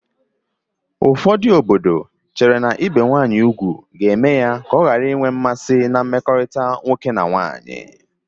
Ụfọdụ obodo chere na ibe nwanyị ugwu ga-eme ya ọ ghara inwe mmasị na mmekọrịta nwoke na nwanyị